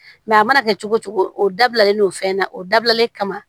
a mana kɛ cogo cogo o dabilalen do fɛn na o dabilalen kama